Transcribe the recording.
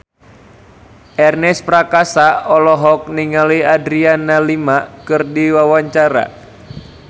Ernest Prakasa olohok ningali Adriana Lima keur diwawancara